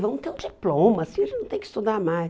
Vamos ter um diploma, assim a gente não tem que estudar mais.